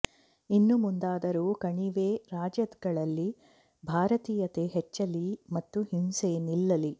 ಇನ್ನು ಮುಂದಾದರೂ ಕಣಿವೆ ರಾಜ್ಯಗಳಲ್ಲಿ ಭಾರತೀಯತೆ ಹೆಚ್ಚಲಿ ಮತ್ತು ಹಿಂಸೆ ನಿಲ್ಲಲಿ